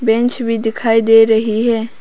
Bench भी दिखाई दे रही है।